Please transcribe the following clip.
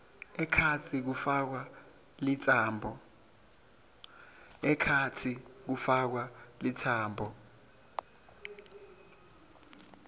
ekhatsi kufakwa litsambo